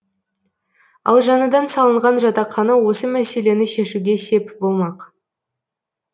ал жаңадан салынған жатақхана осы мәселені шешуге сеп болмақ